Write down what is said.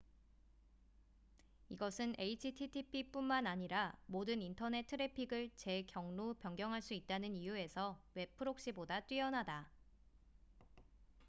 이것은 http뿐만 아니라 모든 인터넷 트래픽을 재 경로 변경 할 수 있다는 이유에서 웹 프록시보다 뛰어나다